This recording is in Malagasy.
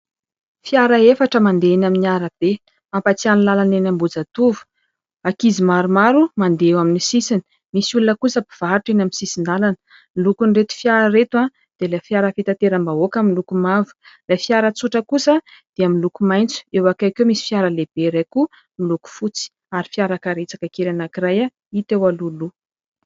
Fiara efatra mandeha eny amin'ny arabe. Mampatsiahy ny lalana eny Ambohijatovo. Ankizy maromaro mandeha eo amin'ny sisiny. Misy olona kosa mpivarotra amin'ny sisin-dalana. Ny lokon'ireto fiara ireto dia ilay fiara fitateram-bahoaka miloko mavo, ilay fiara tsotra kosa dia miloko maitso. Eo akaiky eo misy fiara lehibe iray kosa miloko fotsy, ary fiara karetsaka kely anankiray hita eo alohaloha.